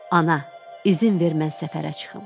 Ana, izin ver mən səfərə çıxım.